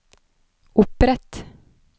opprett